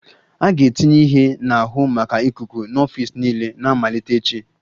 A ga-etinye ihe na-ahụ maka ikuku n'ọfịs niile na-amalite echi